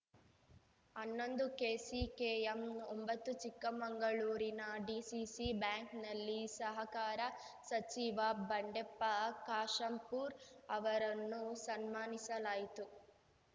ಹನ್ನೊಂದು ಕೆಸಿಕೆಎಂ ಒಂಬತ್ತು ಚಿಕ್ಕಮಂಗಳೂರಿನ ಡಿಸಿಸಿ ಬ್ಯಾಂಕ್‌ನಲ್ಲಿ ಸಹಕಾರ ಸಚಿವ ಬಂಡೆಪ್ಪ ಕಾಶಂಪುರ್‌ ಅವರನ್ನು ಸನ್ಮಾನಿಸಲಾಯಿತು